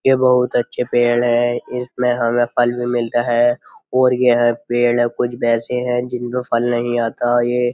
ये बहुत अच्छे पेड़ हैं इसमें हमें फल भी मिलता है और ये पेड़ कुछ ऐसे हैं जिनम फल नहीं आता ये।